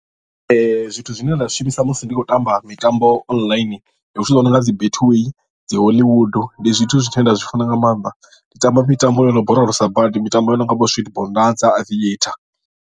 Zwithu zwine nda zwi shumisa musi ndi tshi khou tamba mitambo online ndi zwithu zwi no nga dzi betway dzi hollywood ndi zwithu zwine nda zwi funa nga maanḓa ndi tamba mitambo yo no borolosa badi mitambo yo no nga vho sweet bonanza dzi aviator.